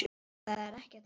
Það er ekkert að mér!